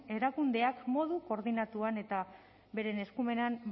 erakundeak modu koordinatuan eta beren eskumenen